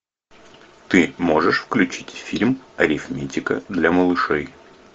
ты можешь включить фильм арифметика для малышей